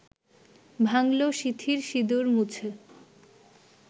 ভাঙলো/সিঁথির সিঁদুর মুছে